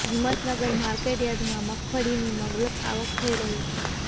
Himmatnagar market યાર્ડમાં મગફળીની મબલખ આવક થઇ રહી છે